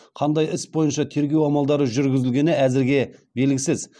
қандай іс бойынша тергеу амалдары жүргізілгені әзірге белгісіз